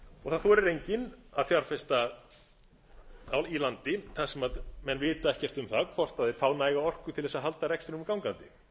og það þorir enginn að fjárfesta í landi þar sem menn vita ekkert um það hvort menn fá læra orku til þess að halda rekstrinum gangandi